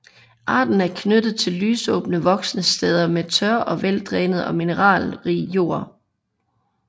Arten er knyttet til lysåbne voksesteder med tør og veldrænet og mineralrig jord